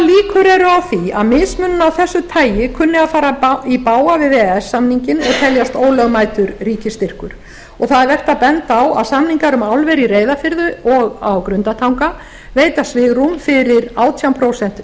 eru á því að mismunun af þessu tagi kunni að fara í bága við e e s samninginn og teljast ólögmætur ríkisstyrkur það er vert að benda á að samningar um álver í reyðarfirði og á grundartanga veita svigrúm fyrir átján prósent